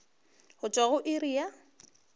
go tšwa go iri ya